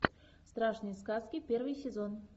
страшные сказки первый сезон